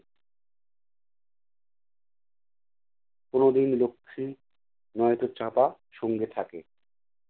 কোনোদিন লক্ষী নয়তো চাঁপা সঙ্গে থাকে।